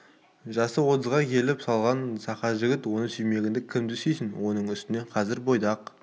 жасы отызға келіп қалған сақа жігіт оны сүймегенде кімді сүйсін оның үстіне қазір бойдақ